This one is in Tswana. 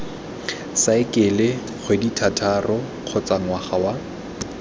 saekele kgwedithataro kgotsa ngwaga wa